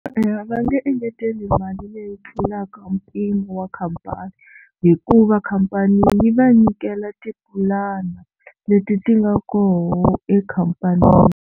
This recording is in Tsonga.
Eya va nge engeteli mali leyi tlulaka mpimo wa khampani hikuva khampani yi va nyikela tipulani leti ti nga koho ekhampanini.